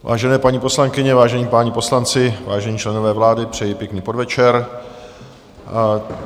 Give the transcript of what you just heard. Vážené paní poslankyně, vážení páni poslanci, vážení členové vlády, přeji pěkný podvečer.